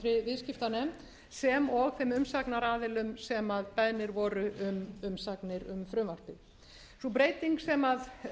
viðskiptanefnd sem og þeim umsagnaraðilum sem beðnir voru um umsagnir um frumvarpið sú breyting sem kveður á um í frumvarpinu lýtur að því að